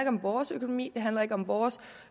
om vores økonomi det handler ikke om vores